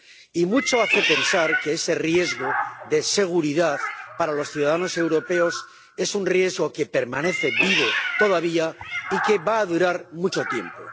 Y mucho hace pensar que ese riesgo de seguridad para los ciudadanos europeos es un riesgo que permanece vivo todavía y que va a durar mucho tiempo.